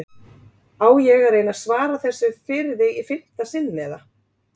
Á ég að reyna að svara þessu fyrir þig í fimmta sinn eða?